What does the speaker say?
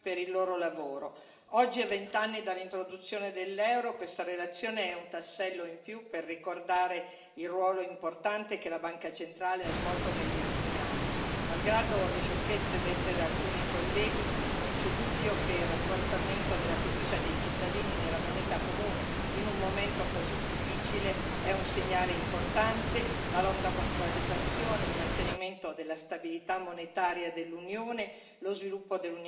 Oggi, a vent'anni dall'introduzione dell'euro, questa relazione è un tassello in più per ricordare il ruolo importante che la Banca centrale ha svolto negli ultimi anni. Malgrado le sciocchezze dette da alcuni colleghi, non c'è dubbio che il rafforzamento della fiducia dei cittadini nella moneta comune in un momento così difficile è un segnale importante la lotta contro la deflazione, il mantenimento della stabilità monetaria dell'Unione, lo sviluppo dell'Unione bancaria europea.